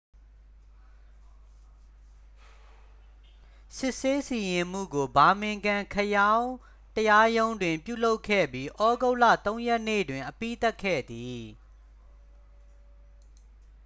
စစ်ဆေးစီရင်မှုကို ဘာမင်ဂမ် ခရောင်း တရားရုံးတွင် ပြုလုပ်ခဲ့ပြီး သြဂုတ်လ 3 ရက်နေ့တွင် အပြီးသတ်ခဲ့သည်